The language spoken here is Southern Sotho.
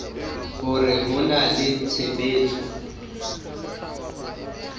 hore ho na le tshebetso